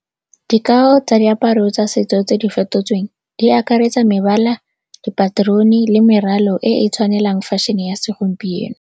Dikao tsa diaparo tsa setso tse di fetotsweng di akaretsa mebala, dipaterone le meralo e e tshwanelang fashion-e ya segompieno.